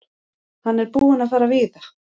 Hann er búinn að fara víða.